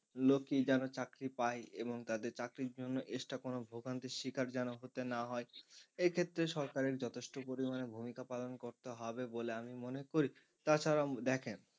লোকই যেনো চাকরি পায় এবং তাদের চাকরির জন্য extra কোনো ভোগান্তির শিকার যেন হতে না হয় এক্ষেত্রে সরকারের যথেষ্ট পরিমাণে ভূমিকা পালন করতে হবে বলে আমি মনে করি। তাছাড়াও দেখেন,